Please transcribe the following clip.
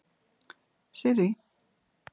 Sirrý